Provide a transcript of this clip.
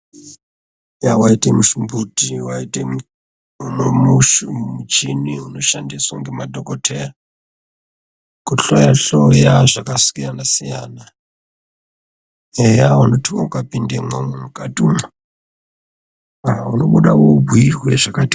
Yah! waite musimboti ,waite muchini unoshandiswe ngemadhokodheya kuhloyahloya zvakasiyanasiyana , eya unoti ukapindemwo mukatimwo unobuda wobhuyirwe zvakati oo...